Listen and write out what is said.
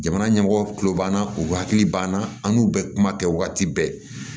Jamana ɲɛmɔgɔw kulo banna u hakili b'an na an n'u bɛ kuma kɛ waati bɛɛ